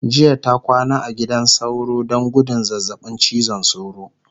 jiya ta kwana a gidan sauro Dan gudun zazzaɓin cizon sauro